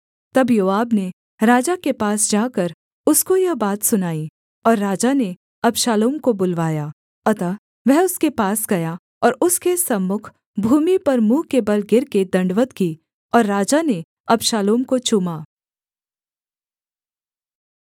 तब योआब ने राजा के पास जाकर उसको यह बात सुनाई और राजा ने अबशालोम को बुलवाया अतः वह उसके पास गया और उसके सम्मुख भूमि पर मुँह के बल गिरकर दण्डवत् की और राजा ने अबशालोम को चूमा